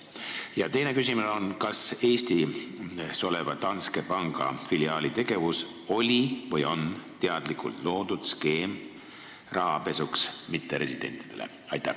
Ja teine küsimus on: kas Eestis oleva Danske Banki filiaali tegevus oli või on teadlikult loodud skeem rahapesuks mitteresidentidele?